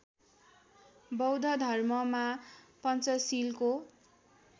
बौद्ध धर्ममा पञ्चशीलको